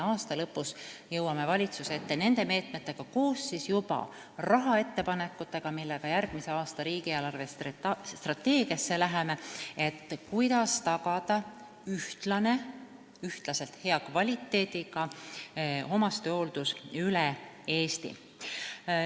Aasta lõpus jõuame valitsuse ette nende meetmete ja siis juba koos rahaettepanekutega järgmise aasta riigi eelarvestrateegiaks, kuidas tagada ühtlaselt hea kvaliteediga omastehooldus üle Eesti.